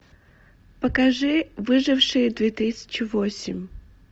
покажи выжившие две тысячи восемь